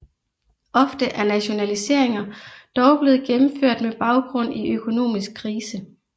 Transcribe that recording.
Ofte er nationaliseringer dog blevet gennemført med baggrund i økonomisk krise